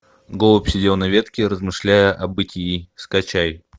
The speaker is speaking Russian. голубь сидел на ветке размышляя о бытии скачай